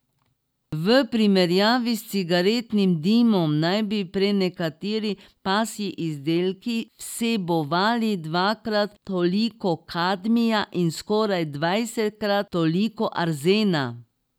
V primerjavi s cigaretnim dimom naj bi prenekateri pasji izdelki vsebovali dvakrat toliko kadmija in skoraj dvajsetkrat toliko arzena.